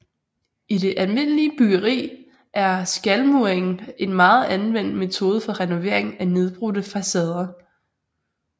I det almindelige byggeri er skalmuring en meget anvendt metode for renovering af nedbrudte facader